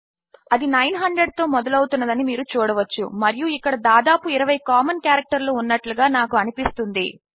అది nine hundred తో మొదలు అవుతున్నది అని మీరు చూడవచ్చు మరియు ఇక్కడ దాదాపు 20 కామన్ కారెక్టర్లు ఉన్నట్లుగా నాకు అనిపిస్తుంది